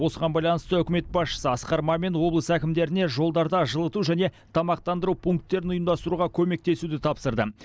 осыған байланысты үкімет басшысы асқар мамин облыс әкімдеріне жолдарда жылыту және тамақтандыру пункттерін ұйымдастыруға көмектесуді тапсырды